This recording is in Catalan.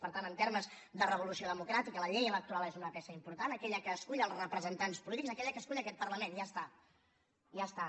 per tant en termes de revolució democràtica la llei electoral és una peça important aquella que escull els representants polítics aquella que escull aquest parlament i ja està ja està